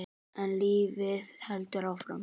En lífið heldur áfram.